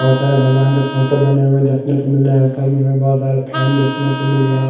बहोत सारे भगवान के फोटो बने हुए देखने को मिल रहा है ऊपर में हमें बहोत सारे फैन देखने को मिल रहा--